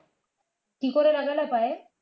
কি করে লাগালে পায়ে